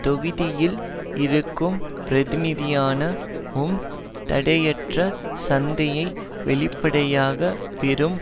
தொகுதியில் இருக்கும் பிரதிநிதியான உம் தடையற்ற சந்தையை வெளிப்படையாக பெரும்